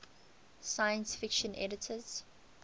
science fiction editors